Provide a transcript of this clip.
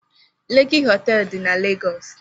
Leki họteelụ dị na Legọs.